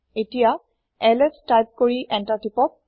এতিয়া LS type কৰি enter তিপক